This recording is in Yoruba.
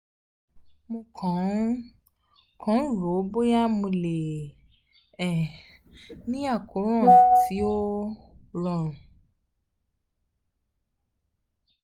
mo kàn ń kàn ń rò ó bóyá mo lè um ní àkóràn tí ó rọrùn